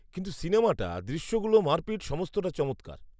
-কিন্তু সিনেমাটা, দৃশ্যগুলো, মারপিট সমস্তটা চমৎকার।